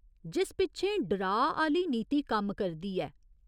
जिस पिच्छें डराऽ आह्‌ली नीति कम्म करदी ऐ।